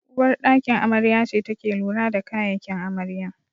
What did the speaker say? Uwar ɗakin amarya ce take lura da kayakin amarya